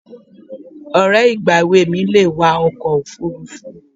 Ọ̀rẹ́ ìgbà èwe mi le wa ọkọ̀ òfuurufú